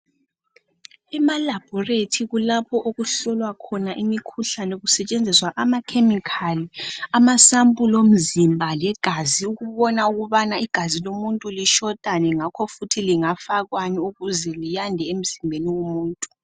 Ema labhorethi kulapho okuhlolwa khona imikhuhlane kusetshenziswa ama khemikhali ,ama sampuli omzimba legazi ukubona ukubana igazi lomuntu lisilelani ngakho futhi lingafakwani ukuze liyande emzimbeni womuntu.